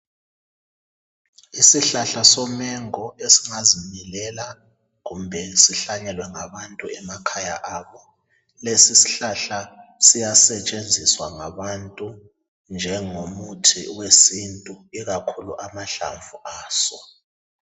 Isihlahla somengo esingazimilela kumbe sihlanyelwe ngabantu emakhaya abo. Lesi isihlahla siyasetshenziswa ngabantu njengomuthi wesintu ikakhulu amahlamvu aso.